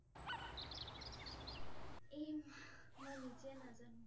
aim হঃ মই নিজেই নাজানো ।